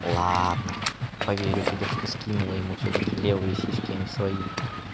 ладно поверю тебе что скинула ему всё-таки левые сиськи а не свои